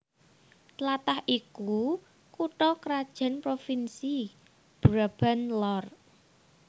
Tlatah iki kutha krajan provinsi Brabant Lor